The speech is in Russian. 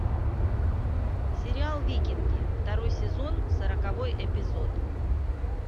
сериал викинги второй сезон сороковой эпизод